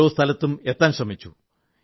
ഓരോ സ്ഥലത്തും എത്താൻ ശ്രമിച്ചു